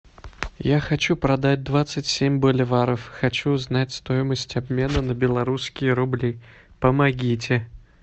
я хочу продать двадцать семь боливаров хочу узнать стоимость обмена на белорусские рубли помогите